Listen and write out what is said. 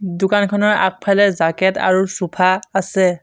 দোকানখনৰ আগফালে জাকেত আৰু চোফা আছে।